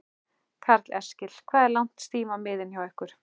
Karl Eskil: Hvað er langt stím á miðin hjá ykkur?